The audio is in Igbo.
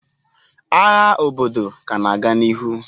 Agha obodo ka na-aga n'ihu.